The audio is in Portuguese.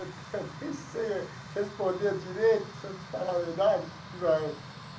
Eu eu nem sei responder direito, se eu te falar a verdade igual.